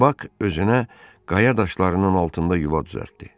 Bak özünə qaya daşlarının altında yuva düzəltdi.